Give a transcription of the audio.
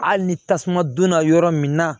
Hali ni tasuma donna yɔrɔ min na